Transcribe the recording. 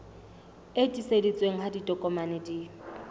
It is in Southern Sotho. e tiiseditsweng ha ditokomane di